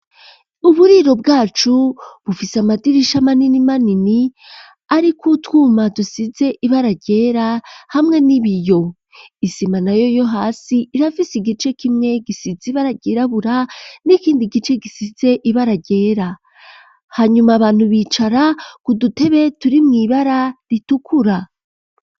Uburiro bwacu bufise amadirisha manini manini ariko utwuma dusize ibara ryera hamwe n'ibiyo isima nayo yo hasi irafise igice kimwe gisize ibara ryirabura n'ikindi gice gisize ibara ryera hanyuma abantu bicara ku dutebe turi mw'ibara ritukura.